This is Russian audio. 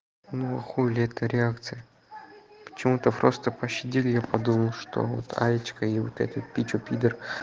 ну а хули это реакция почему-то просто пощадили я подумал что вот алечка и вот эту пичу пидор